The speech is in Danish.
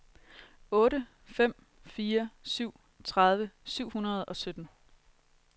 otte fem fire syv tredive syv hundrede og sytten